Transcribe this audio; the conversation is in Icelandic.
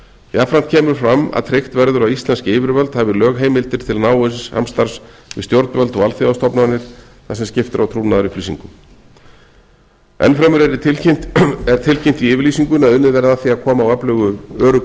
jafnframt kemur fram að tryggt verður að íslensk yfirvöld hafi lögheimildir til náins samstarfs við stjórnvöld og alþjóðastofnanir þar sem skipst er á trúnaðarupplýsingum enn fremur er tilkynnt í yfirlýsingunni að unnið verði að því að koma á öflugu öruggu